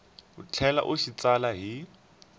tlhela u xi tsala hi